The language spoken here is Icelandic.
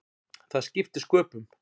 Það skipti sköpum.